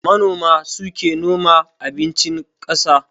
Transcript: Manoma suke noma abincin ƙasa